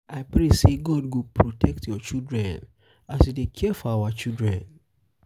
i pray sey god go protect your children as you dey care for our children.